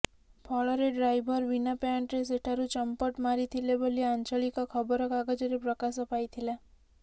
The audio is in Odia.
ଫଳରେ ଡ୍ରାଇଭର୍ ବିନା ପ୍ୟାଣ୍ଟରେ ସେଠାରୁ ଚମ୍ପଟ୍ ମାରିଥିଲେ ବୋଲି ଆଞ୍ଚଳିକ ଖବରକାଗଜରେ ପ୍ରକାଶ ପାଇଥିଲା